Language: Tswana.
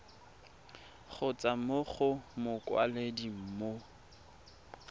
kgotsa mo go mokwaledi mo